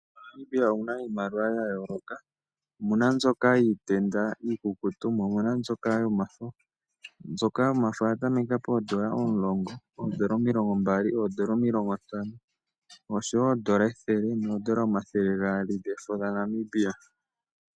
MoNamibia omu na iimaliwa ya yooloka, omu na mbyoka yiitenda iikukutu, mo omu na mbyoka yomafo. Mbyoka yomafo oya tameka poondola omulongo, oondola omilongo mbali, oondola omilongo ntano, nosho wo oondola ethele noondola omathele gaali dhefo dhaNamibia.